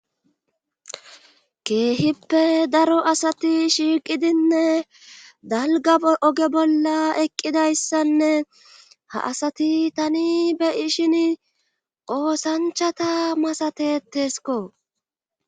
keehippe daro asati shiiqidinne dalga oge bolla eqqidayssanne ha asati tani beyishin qoosanchata masatetesko